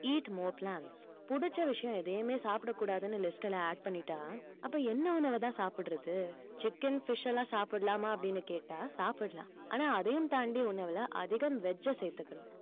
eat more plants புடிச்ச விஷயம் எதையுமே சாப்பிடக்கூடாதுன்னு list ல add பண்ணிட்டா அப்ப என்ன உணவுதான் சாப்பிடுறது chicken fish எல்லாம் சாப்பிடலாமா அப்படின்னு கேட்டா சாப்பிடலாம் ஆனா அதையும் தாண்டி உணவுல அதிகம் veg அ சேர்த்துக்கணும்